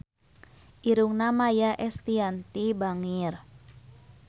Irungna Maia Estianty bangir